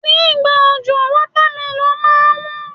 Ní ìgbà òjò, wọ́támélọ̀n máa ń wón.